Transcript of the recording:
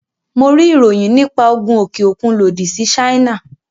Mo rí ìròyìn nípa Ogun òkè òkun lòdì sí Ṣáínà.